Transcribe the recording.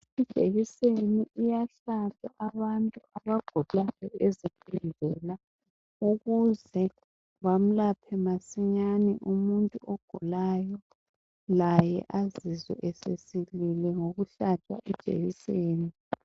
Ijekiseni iyahlatshwa abantu abagulayo ezibhedlela bamlaphe masinyane umuntu ogulayo, laye azizwe esesilile ngokuhlatshwa ijekiseni.